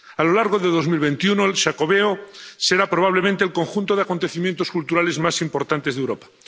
A lo largo de 2021 el Xacobeo será probablemente el conjunto de acontecimientos culturales más importantes de Europa.